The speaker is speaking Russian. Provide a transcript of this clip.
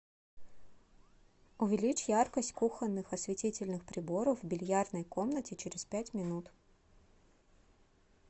увеличь яркость кухонных осветительных приборов в бильярдной комнате через пять минут